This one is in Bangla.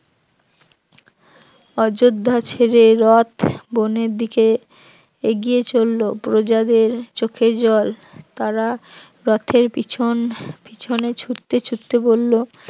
অযোধ্যা ছেড়ে রথ বনের দিকে এগিয়ে চলল, প্রজাদের চোখে জল তারা রথের পিছন পিছনে ছুটতে ছুটতে বলল